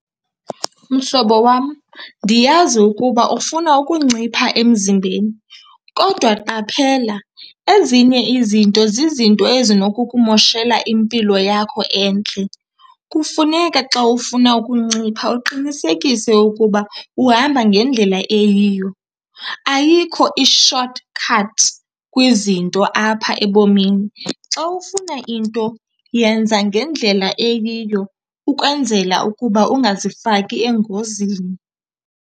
Mhlobo wam, ndiyazi ukuba ufuna ukuncipha emzimbeni kodwa qaphela, ezinye izinto zizinto ezinokukumoshela impilo yakho entle. Kufuneka xa ufuna ukuncipha uqinisekise ukuba uhamba ngendlela eyiyo. Ayikho i-short cut kwizinto apha ebomini. Xa ufuna into yenza ngendlela eyiyo ukwenzela ukuba ungazifaki engozini.